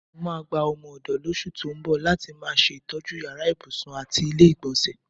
Mo máa gba o̩mo̩-ò̩dò̩ lós̩ù tó ń bò̩ láti máa s̩ètó̩jú yàrá ibùsùn àti ilé-ìgbò̩nsè̩.